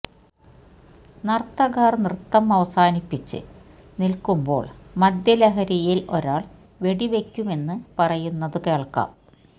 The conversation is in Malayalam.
നര്ത്തകര് നൃത്തം അവസാനിപ്പിച്ച് നില്ക്കുമ്പോള് മദ്യലഹരിയില് ഒരാള് വെടിവെയ്ക്കുമെന്ന് പറയുന്നത് കേള്ക്കാം